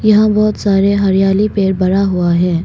यहां बहुत सारे हरियाली पेड़ बड़ा हुआ है।